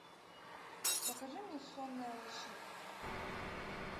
покажи мне сонная лощина